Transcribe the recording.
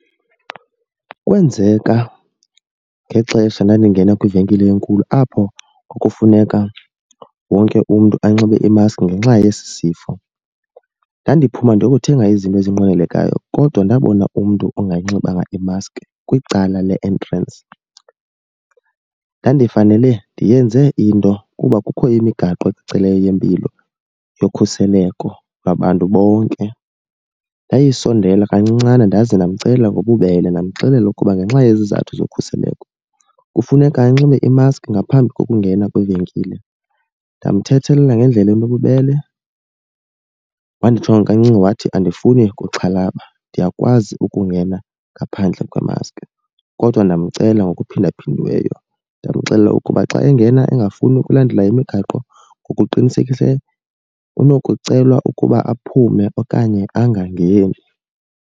Kwenzeka ngexesha ndandingene kwivenkile enkulu apho kwakufuneka wonke umntu anxibe imaski ngenxa yesi sifo. Ndandiphuma ndiyokuthenga izinto ezinqwenelekayo kodwa ndabona umntu ongayinxibanga i-mask kwicala le-entrance. Ndandifanele ndiyenze into kuba kukho imigaqo kwicala yempilo yokhuseleko lwabantu bonke. Ndayisondela kancincana ndaze ndamcela ngobubele ndamxelela ukuba ngenxa yezizathu zokhuseleko kufuneka anxibe i-mask ngaphambi kokungena kwivenkile. Ndamthethelela ngendlela enobubele, wandijonga kancinci wathi andifuni kuxhalaba ndiyakwazi ukungena ngaphandle kwemaski. Kodwa ndamcela ngokuphindaphindiweyo ndamxelela ukuba xa engena engafuni ukulandela imigaqo ngokuqinisekisileyo unokucelwa ukuba aphume okanye angangeni.